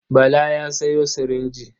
Bala ya sayo sirinji.